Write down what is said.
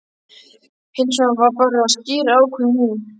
Hins vegar ber að skýra ákvæðin í